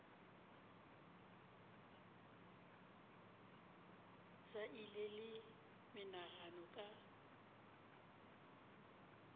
sa ile le menagano ka